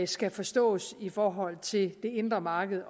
skal forstås i forhold til det indre marked